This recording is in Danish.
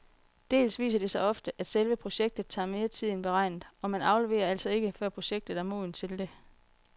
Dels viser det sig ofte, at selve projektet tager mere tid end beregnet, og man afleverer altså ikke, før projektet er modent til det.